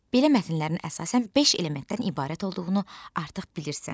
Belə mətnlərin əsasən beş elementdən ibarət olduğunu artıq bilirsən.